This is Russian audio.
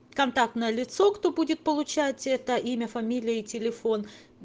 контактное лицо кто будет получать это имя фамилия и телефон